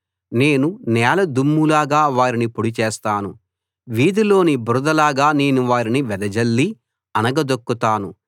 నేను నేల దుమ్ము లాగా వారిని పొడి చేస్తాను వీధిలోని బురదలాగా నేను వారిని వెదజల్లి అణగదొక్కుతాను